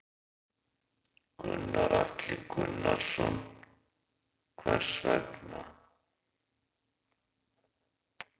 Gunnar Atli Gunnarsson: Hvers vegna?